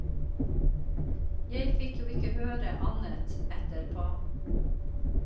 Jeg fikk jo ikke høre annet etterpå.